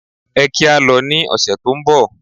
Ẹ kí á lọ ní ọ̀sẹ̀ tó ń bọ̀.